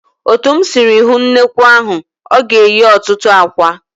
Otu m sịrị hụ nnekwu ahụ, ọ ga-eyi ọtụtụ àkwạ́.